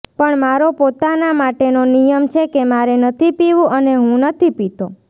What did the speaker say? પણ મારો પોતાના માટેનો નિયમ છે કે મારે નથી પીવું અને હું નથી પીતો